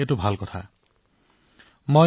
এইটো এটা ভাল প্ৰৱণতা যাক আৰু উন্নত কৰিব লাগে